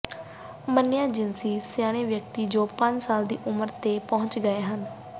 ਮੰਨਿਆ ਜਿਨਸੀ ਸਿਆਣੇ ਵਿਅਕਤੀ ਜੋ ਪੰਜ ਸਾਲ ਦੀ ਉਮਰ ਤੇ ਪਹੁੰਚ ਗਏ ਹਨ